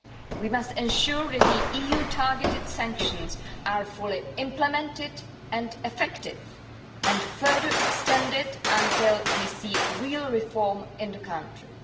We must ensure that the EU targeted sanctions are fully implemented, effective and further extended until we see real reform in the country.